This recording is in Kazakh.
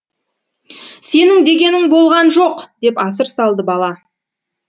сенің дегенің болған жоқ деп асыр салды бала